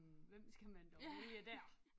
Hvem skal man dog vælge dér